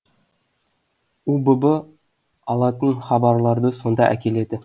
убб алатын хабарларды сонда әкеледі